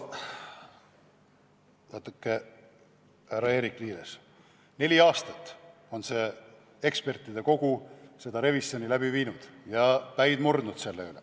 Vaadake, härra Eerik-Niiles, neli aastat on ekspertide kogu seda revisjoni läbi viinud ja päid murdnud.